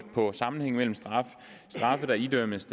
på sammenhængen mellem straffe der idømmes